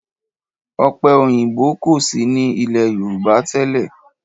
Ọ̀pẹ òyìnbó kò sí ní ilé Yorùbá tẹ́lẹ̀.